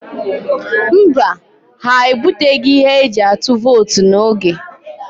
Mba, ha ebuteghị ihe eji atụ vootu n'oge.